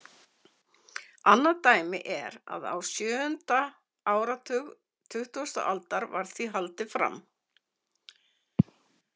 Annað dæmi er að á sjöundi áratug tuttugasta aldar var því haldið fram.